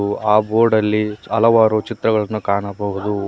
ಆ ಬೋರ್ಡ್ ಅಲ್ಲಿ ಹಲವಾರು ಚಿತ್ರಗಳನ್ನು ಕಾಣಬಹುದು.